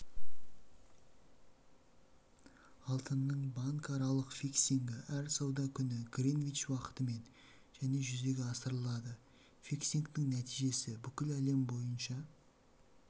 алтынның банкаралық фиксингі әр сауда күні гринвич уақытымен және жүзеге асырылады фиксингтің нәтижесі бүкіл әлем бойынша